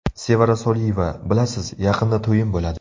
Sevara Soliyeva: Bilasiz, yaqinda to‘yim bo‘ladi.